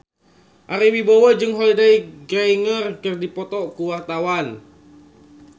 Ari Wibowo jeung Holliday Grainger keur dipoto ku wartawan